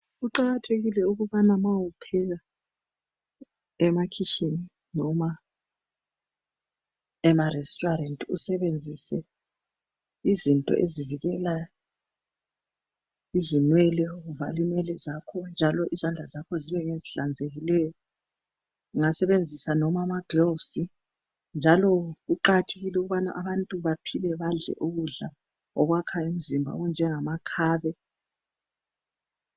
Kuqajathekile ukubana uma upheka emakhitshini noma enarestuarant, usebenzise izinto ezivikela izinwele. Uvale inwele zakho, njalo izandla zakho zibe ngezihlanzekileyo. Uqngasebenzisa noma amagloves, njalo kuqakathekile ukuthi abantu baphile, badle ukudla okwakha imizimba okunjengamakhabe.